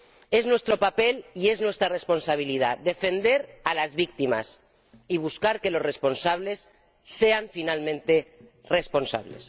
Es nuestro papel y es nuestra responsabilidad defender a las víctimas y buscar que los responsables sean, finalmente, responsables.